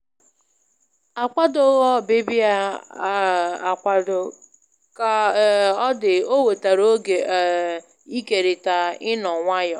Akwadoghị ọbịbịa ya um akwado, ka um ọ dị o wetara oge um ikerịta ị́nọ nwayọ.